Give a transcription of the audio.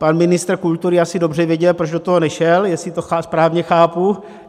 Pan ministr kultury asi dobře věděl, proč do toho nešel, jestli to správně chápu.